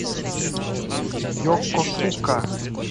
йокосука